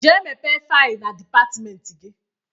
Gaa mepe faịl na dịpartmenti gi!